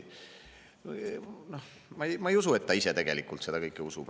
Ma ei usu, et ta ise seda kõike usub.